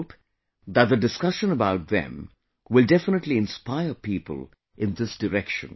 I hope that the discussion about them will definitely inspire people in this direction